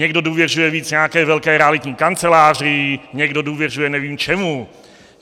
Někdo důvěřuje víc nějaké velké realitní kanceláři, někdo důvěřuje nevím čemu.